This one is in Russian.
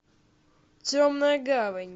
темная гавань